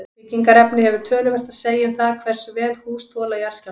Byggingarefni hefur töluvert að segja um það hversu vel hús þola jarðskjálfta.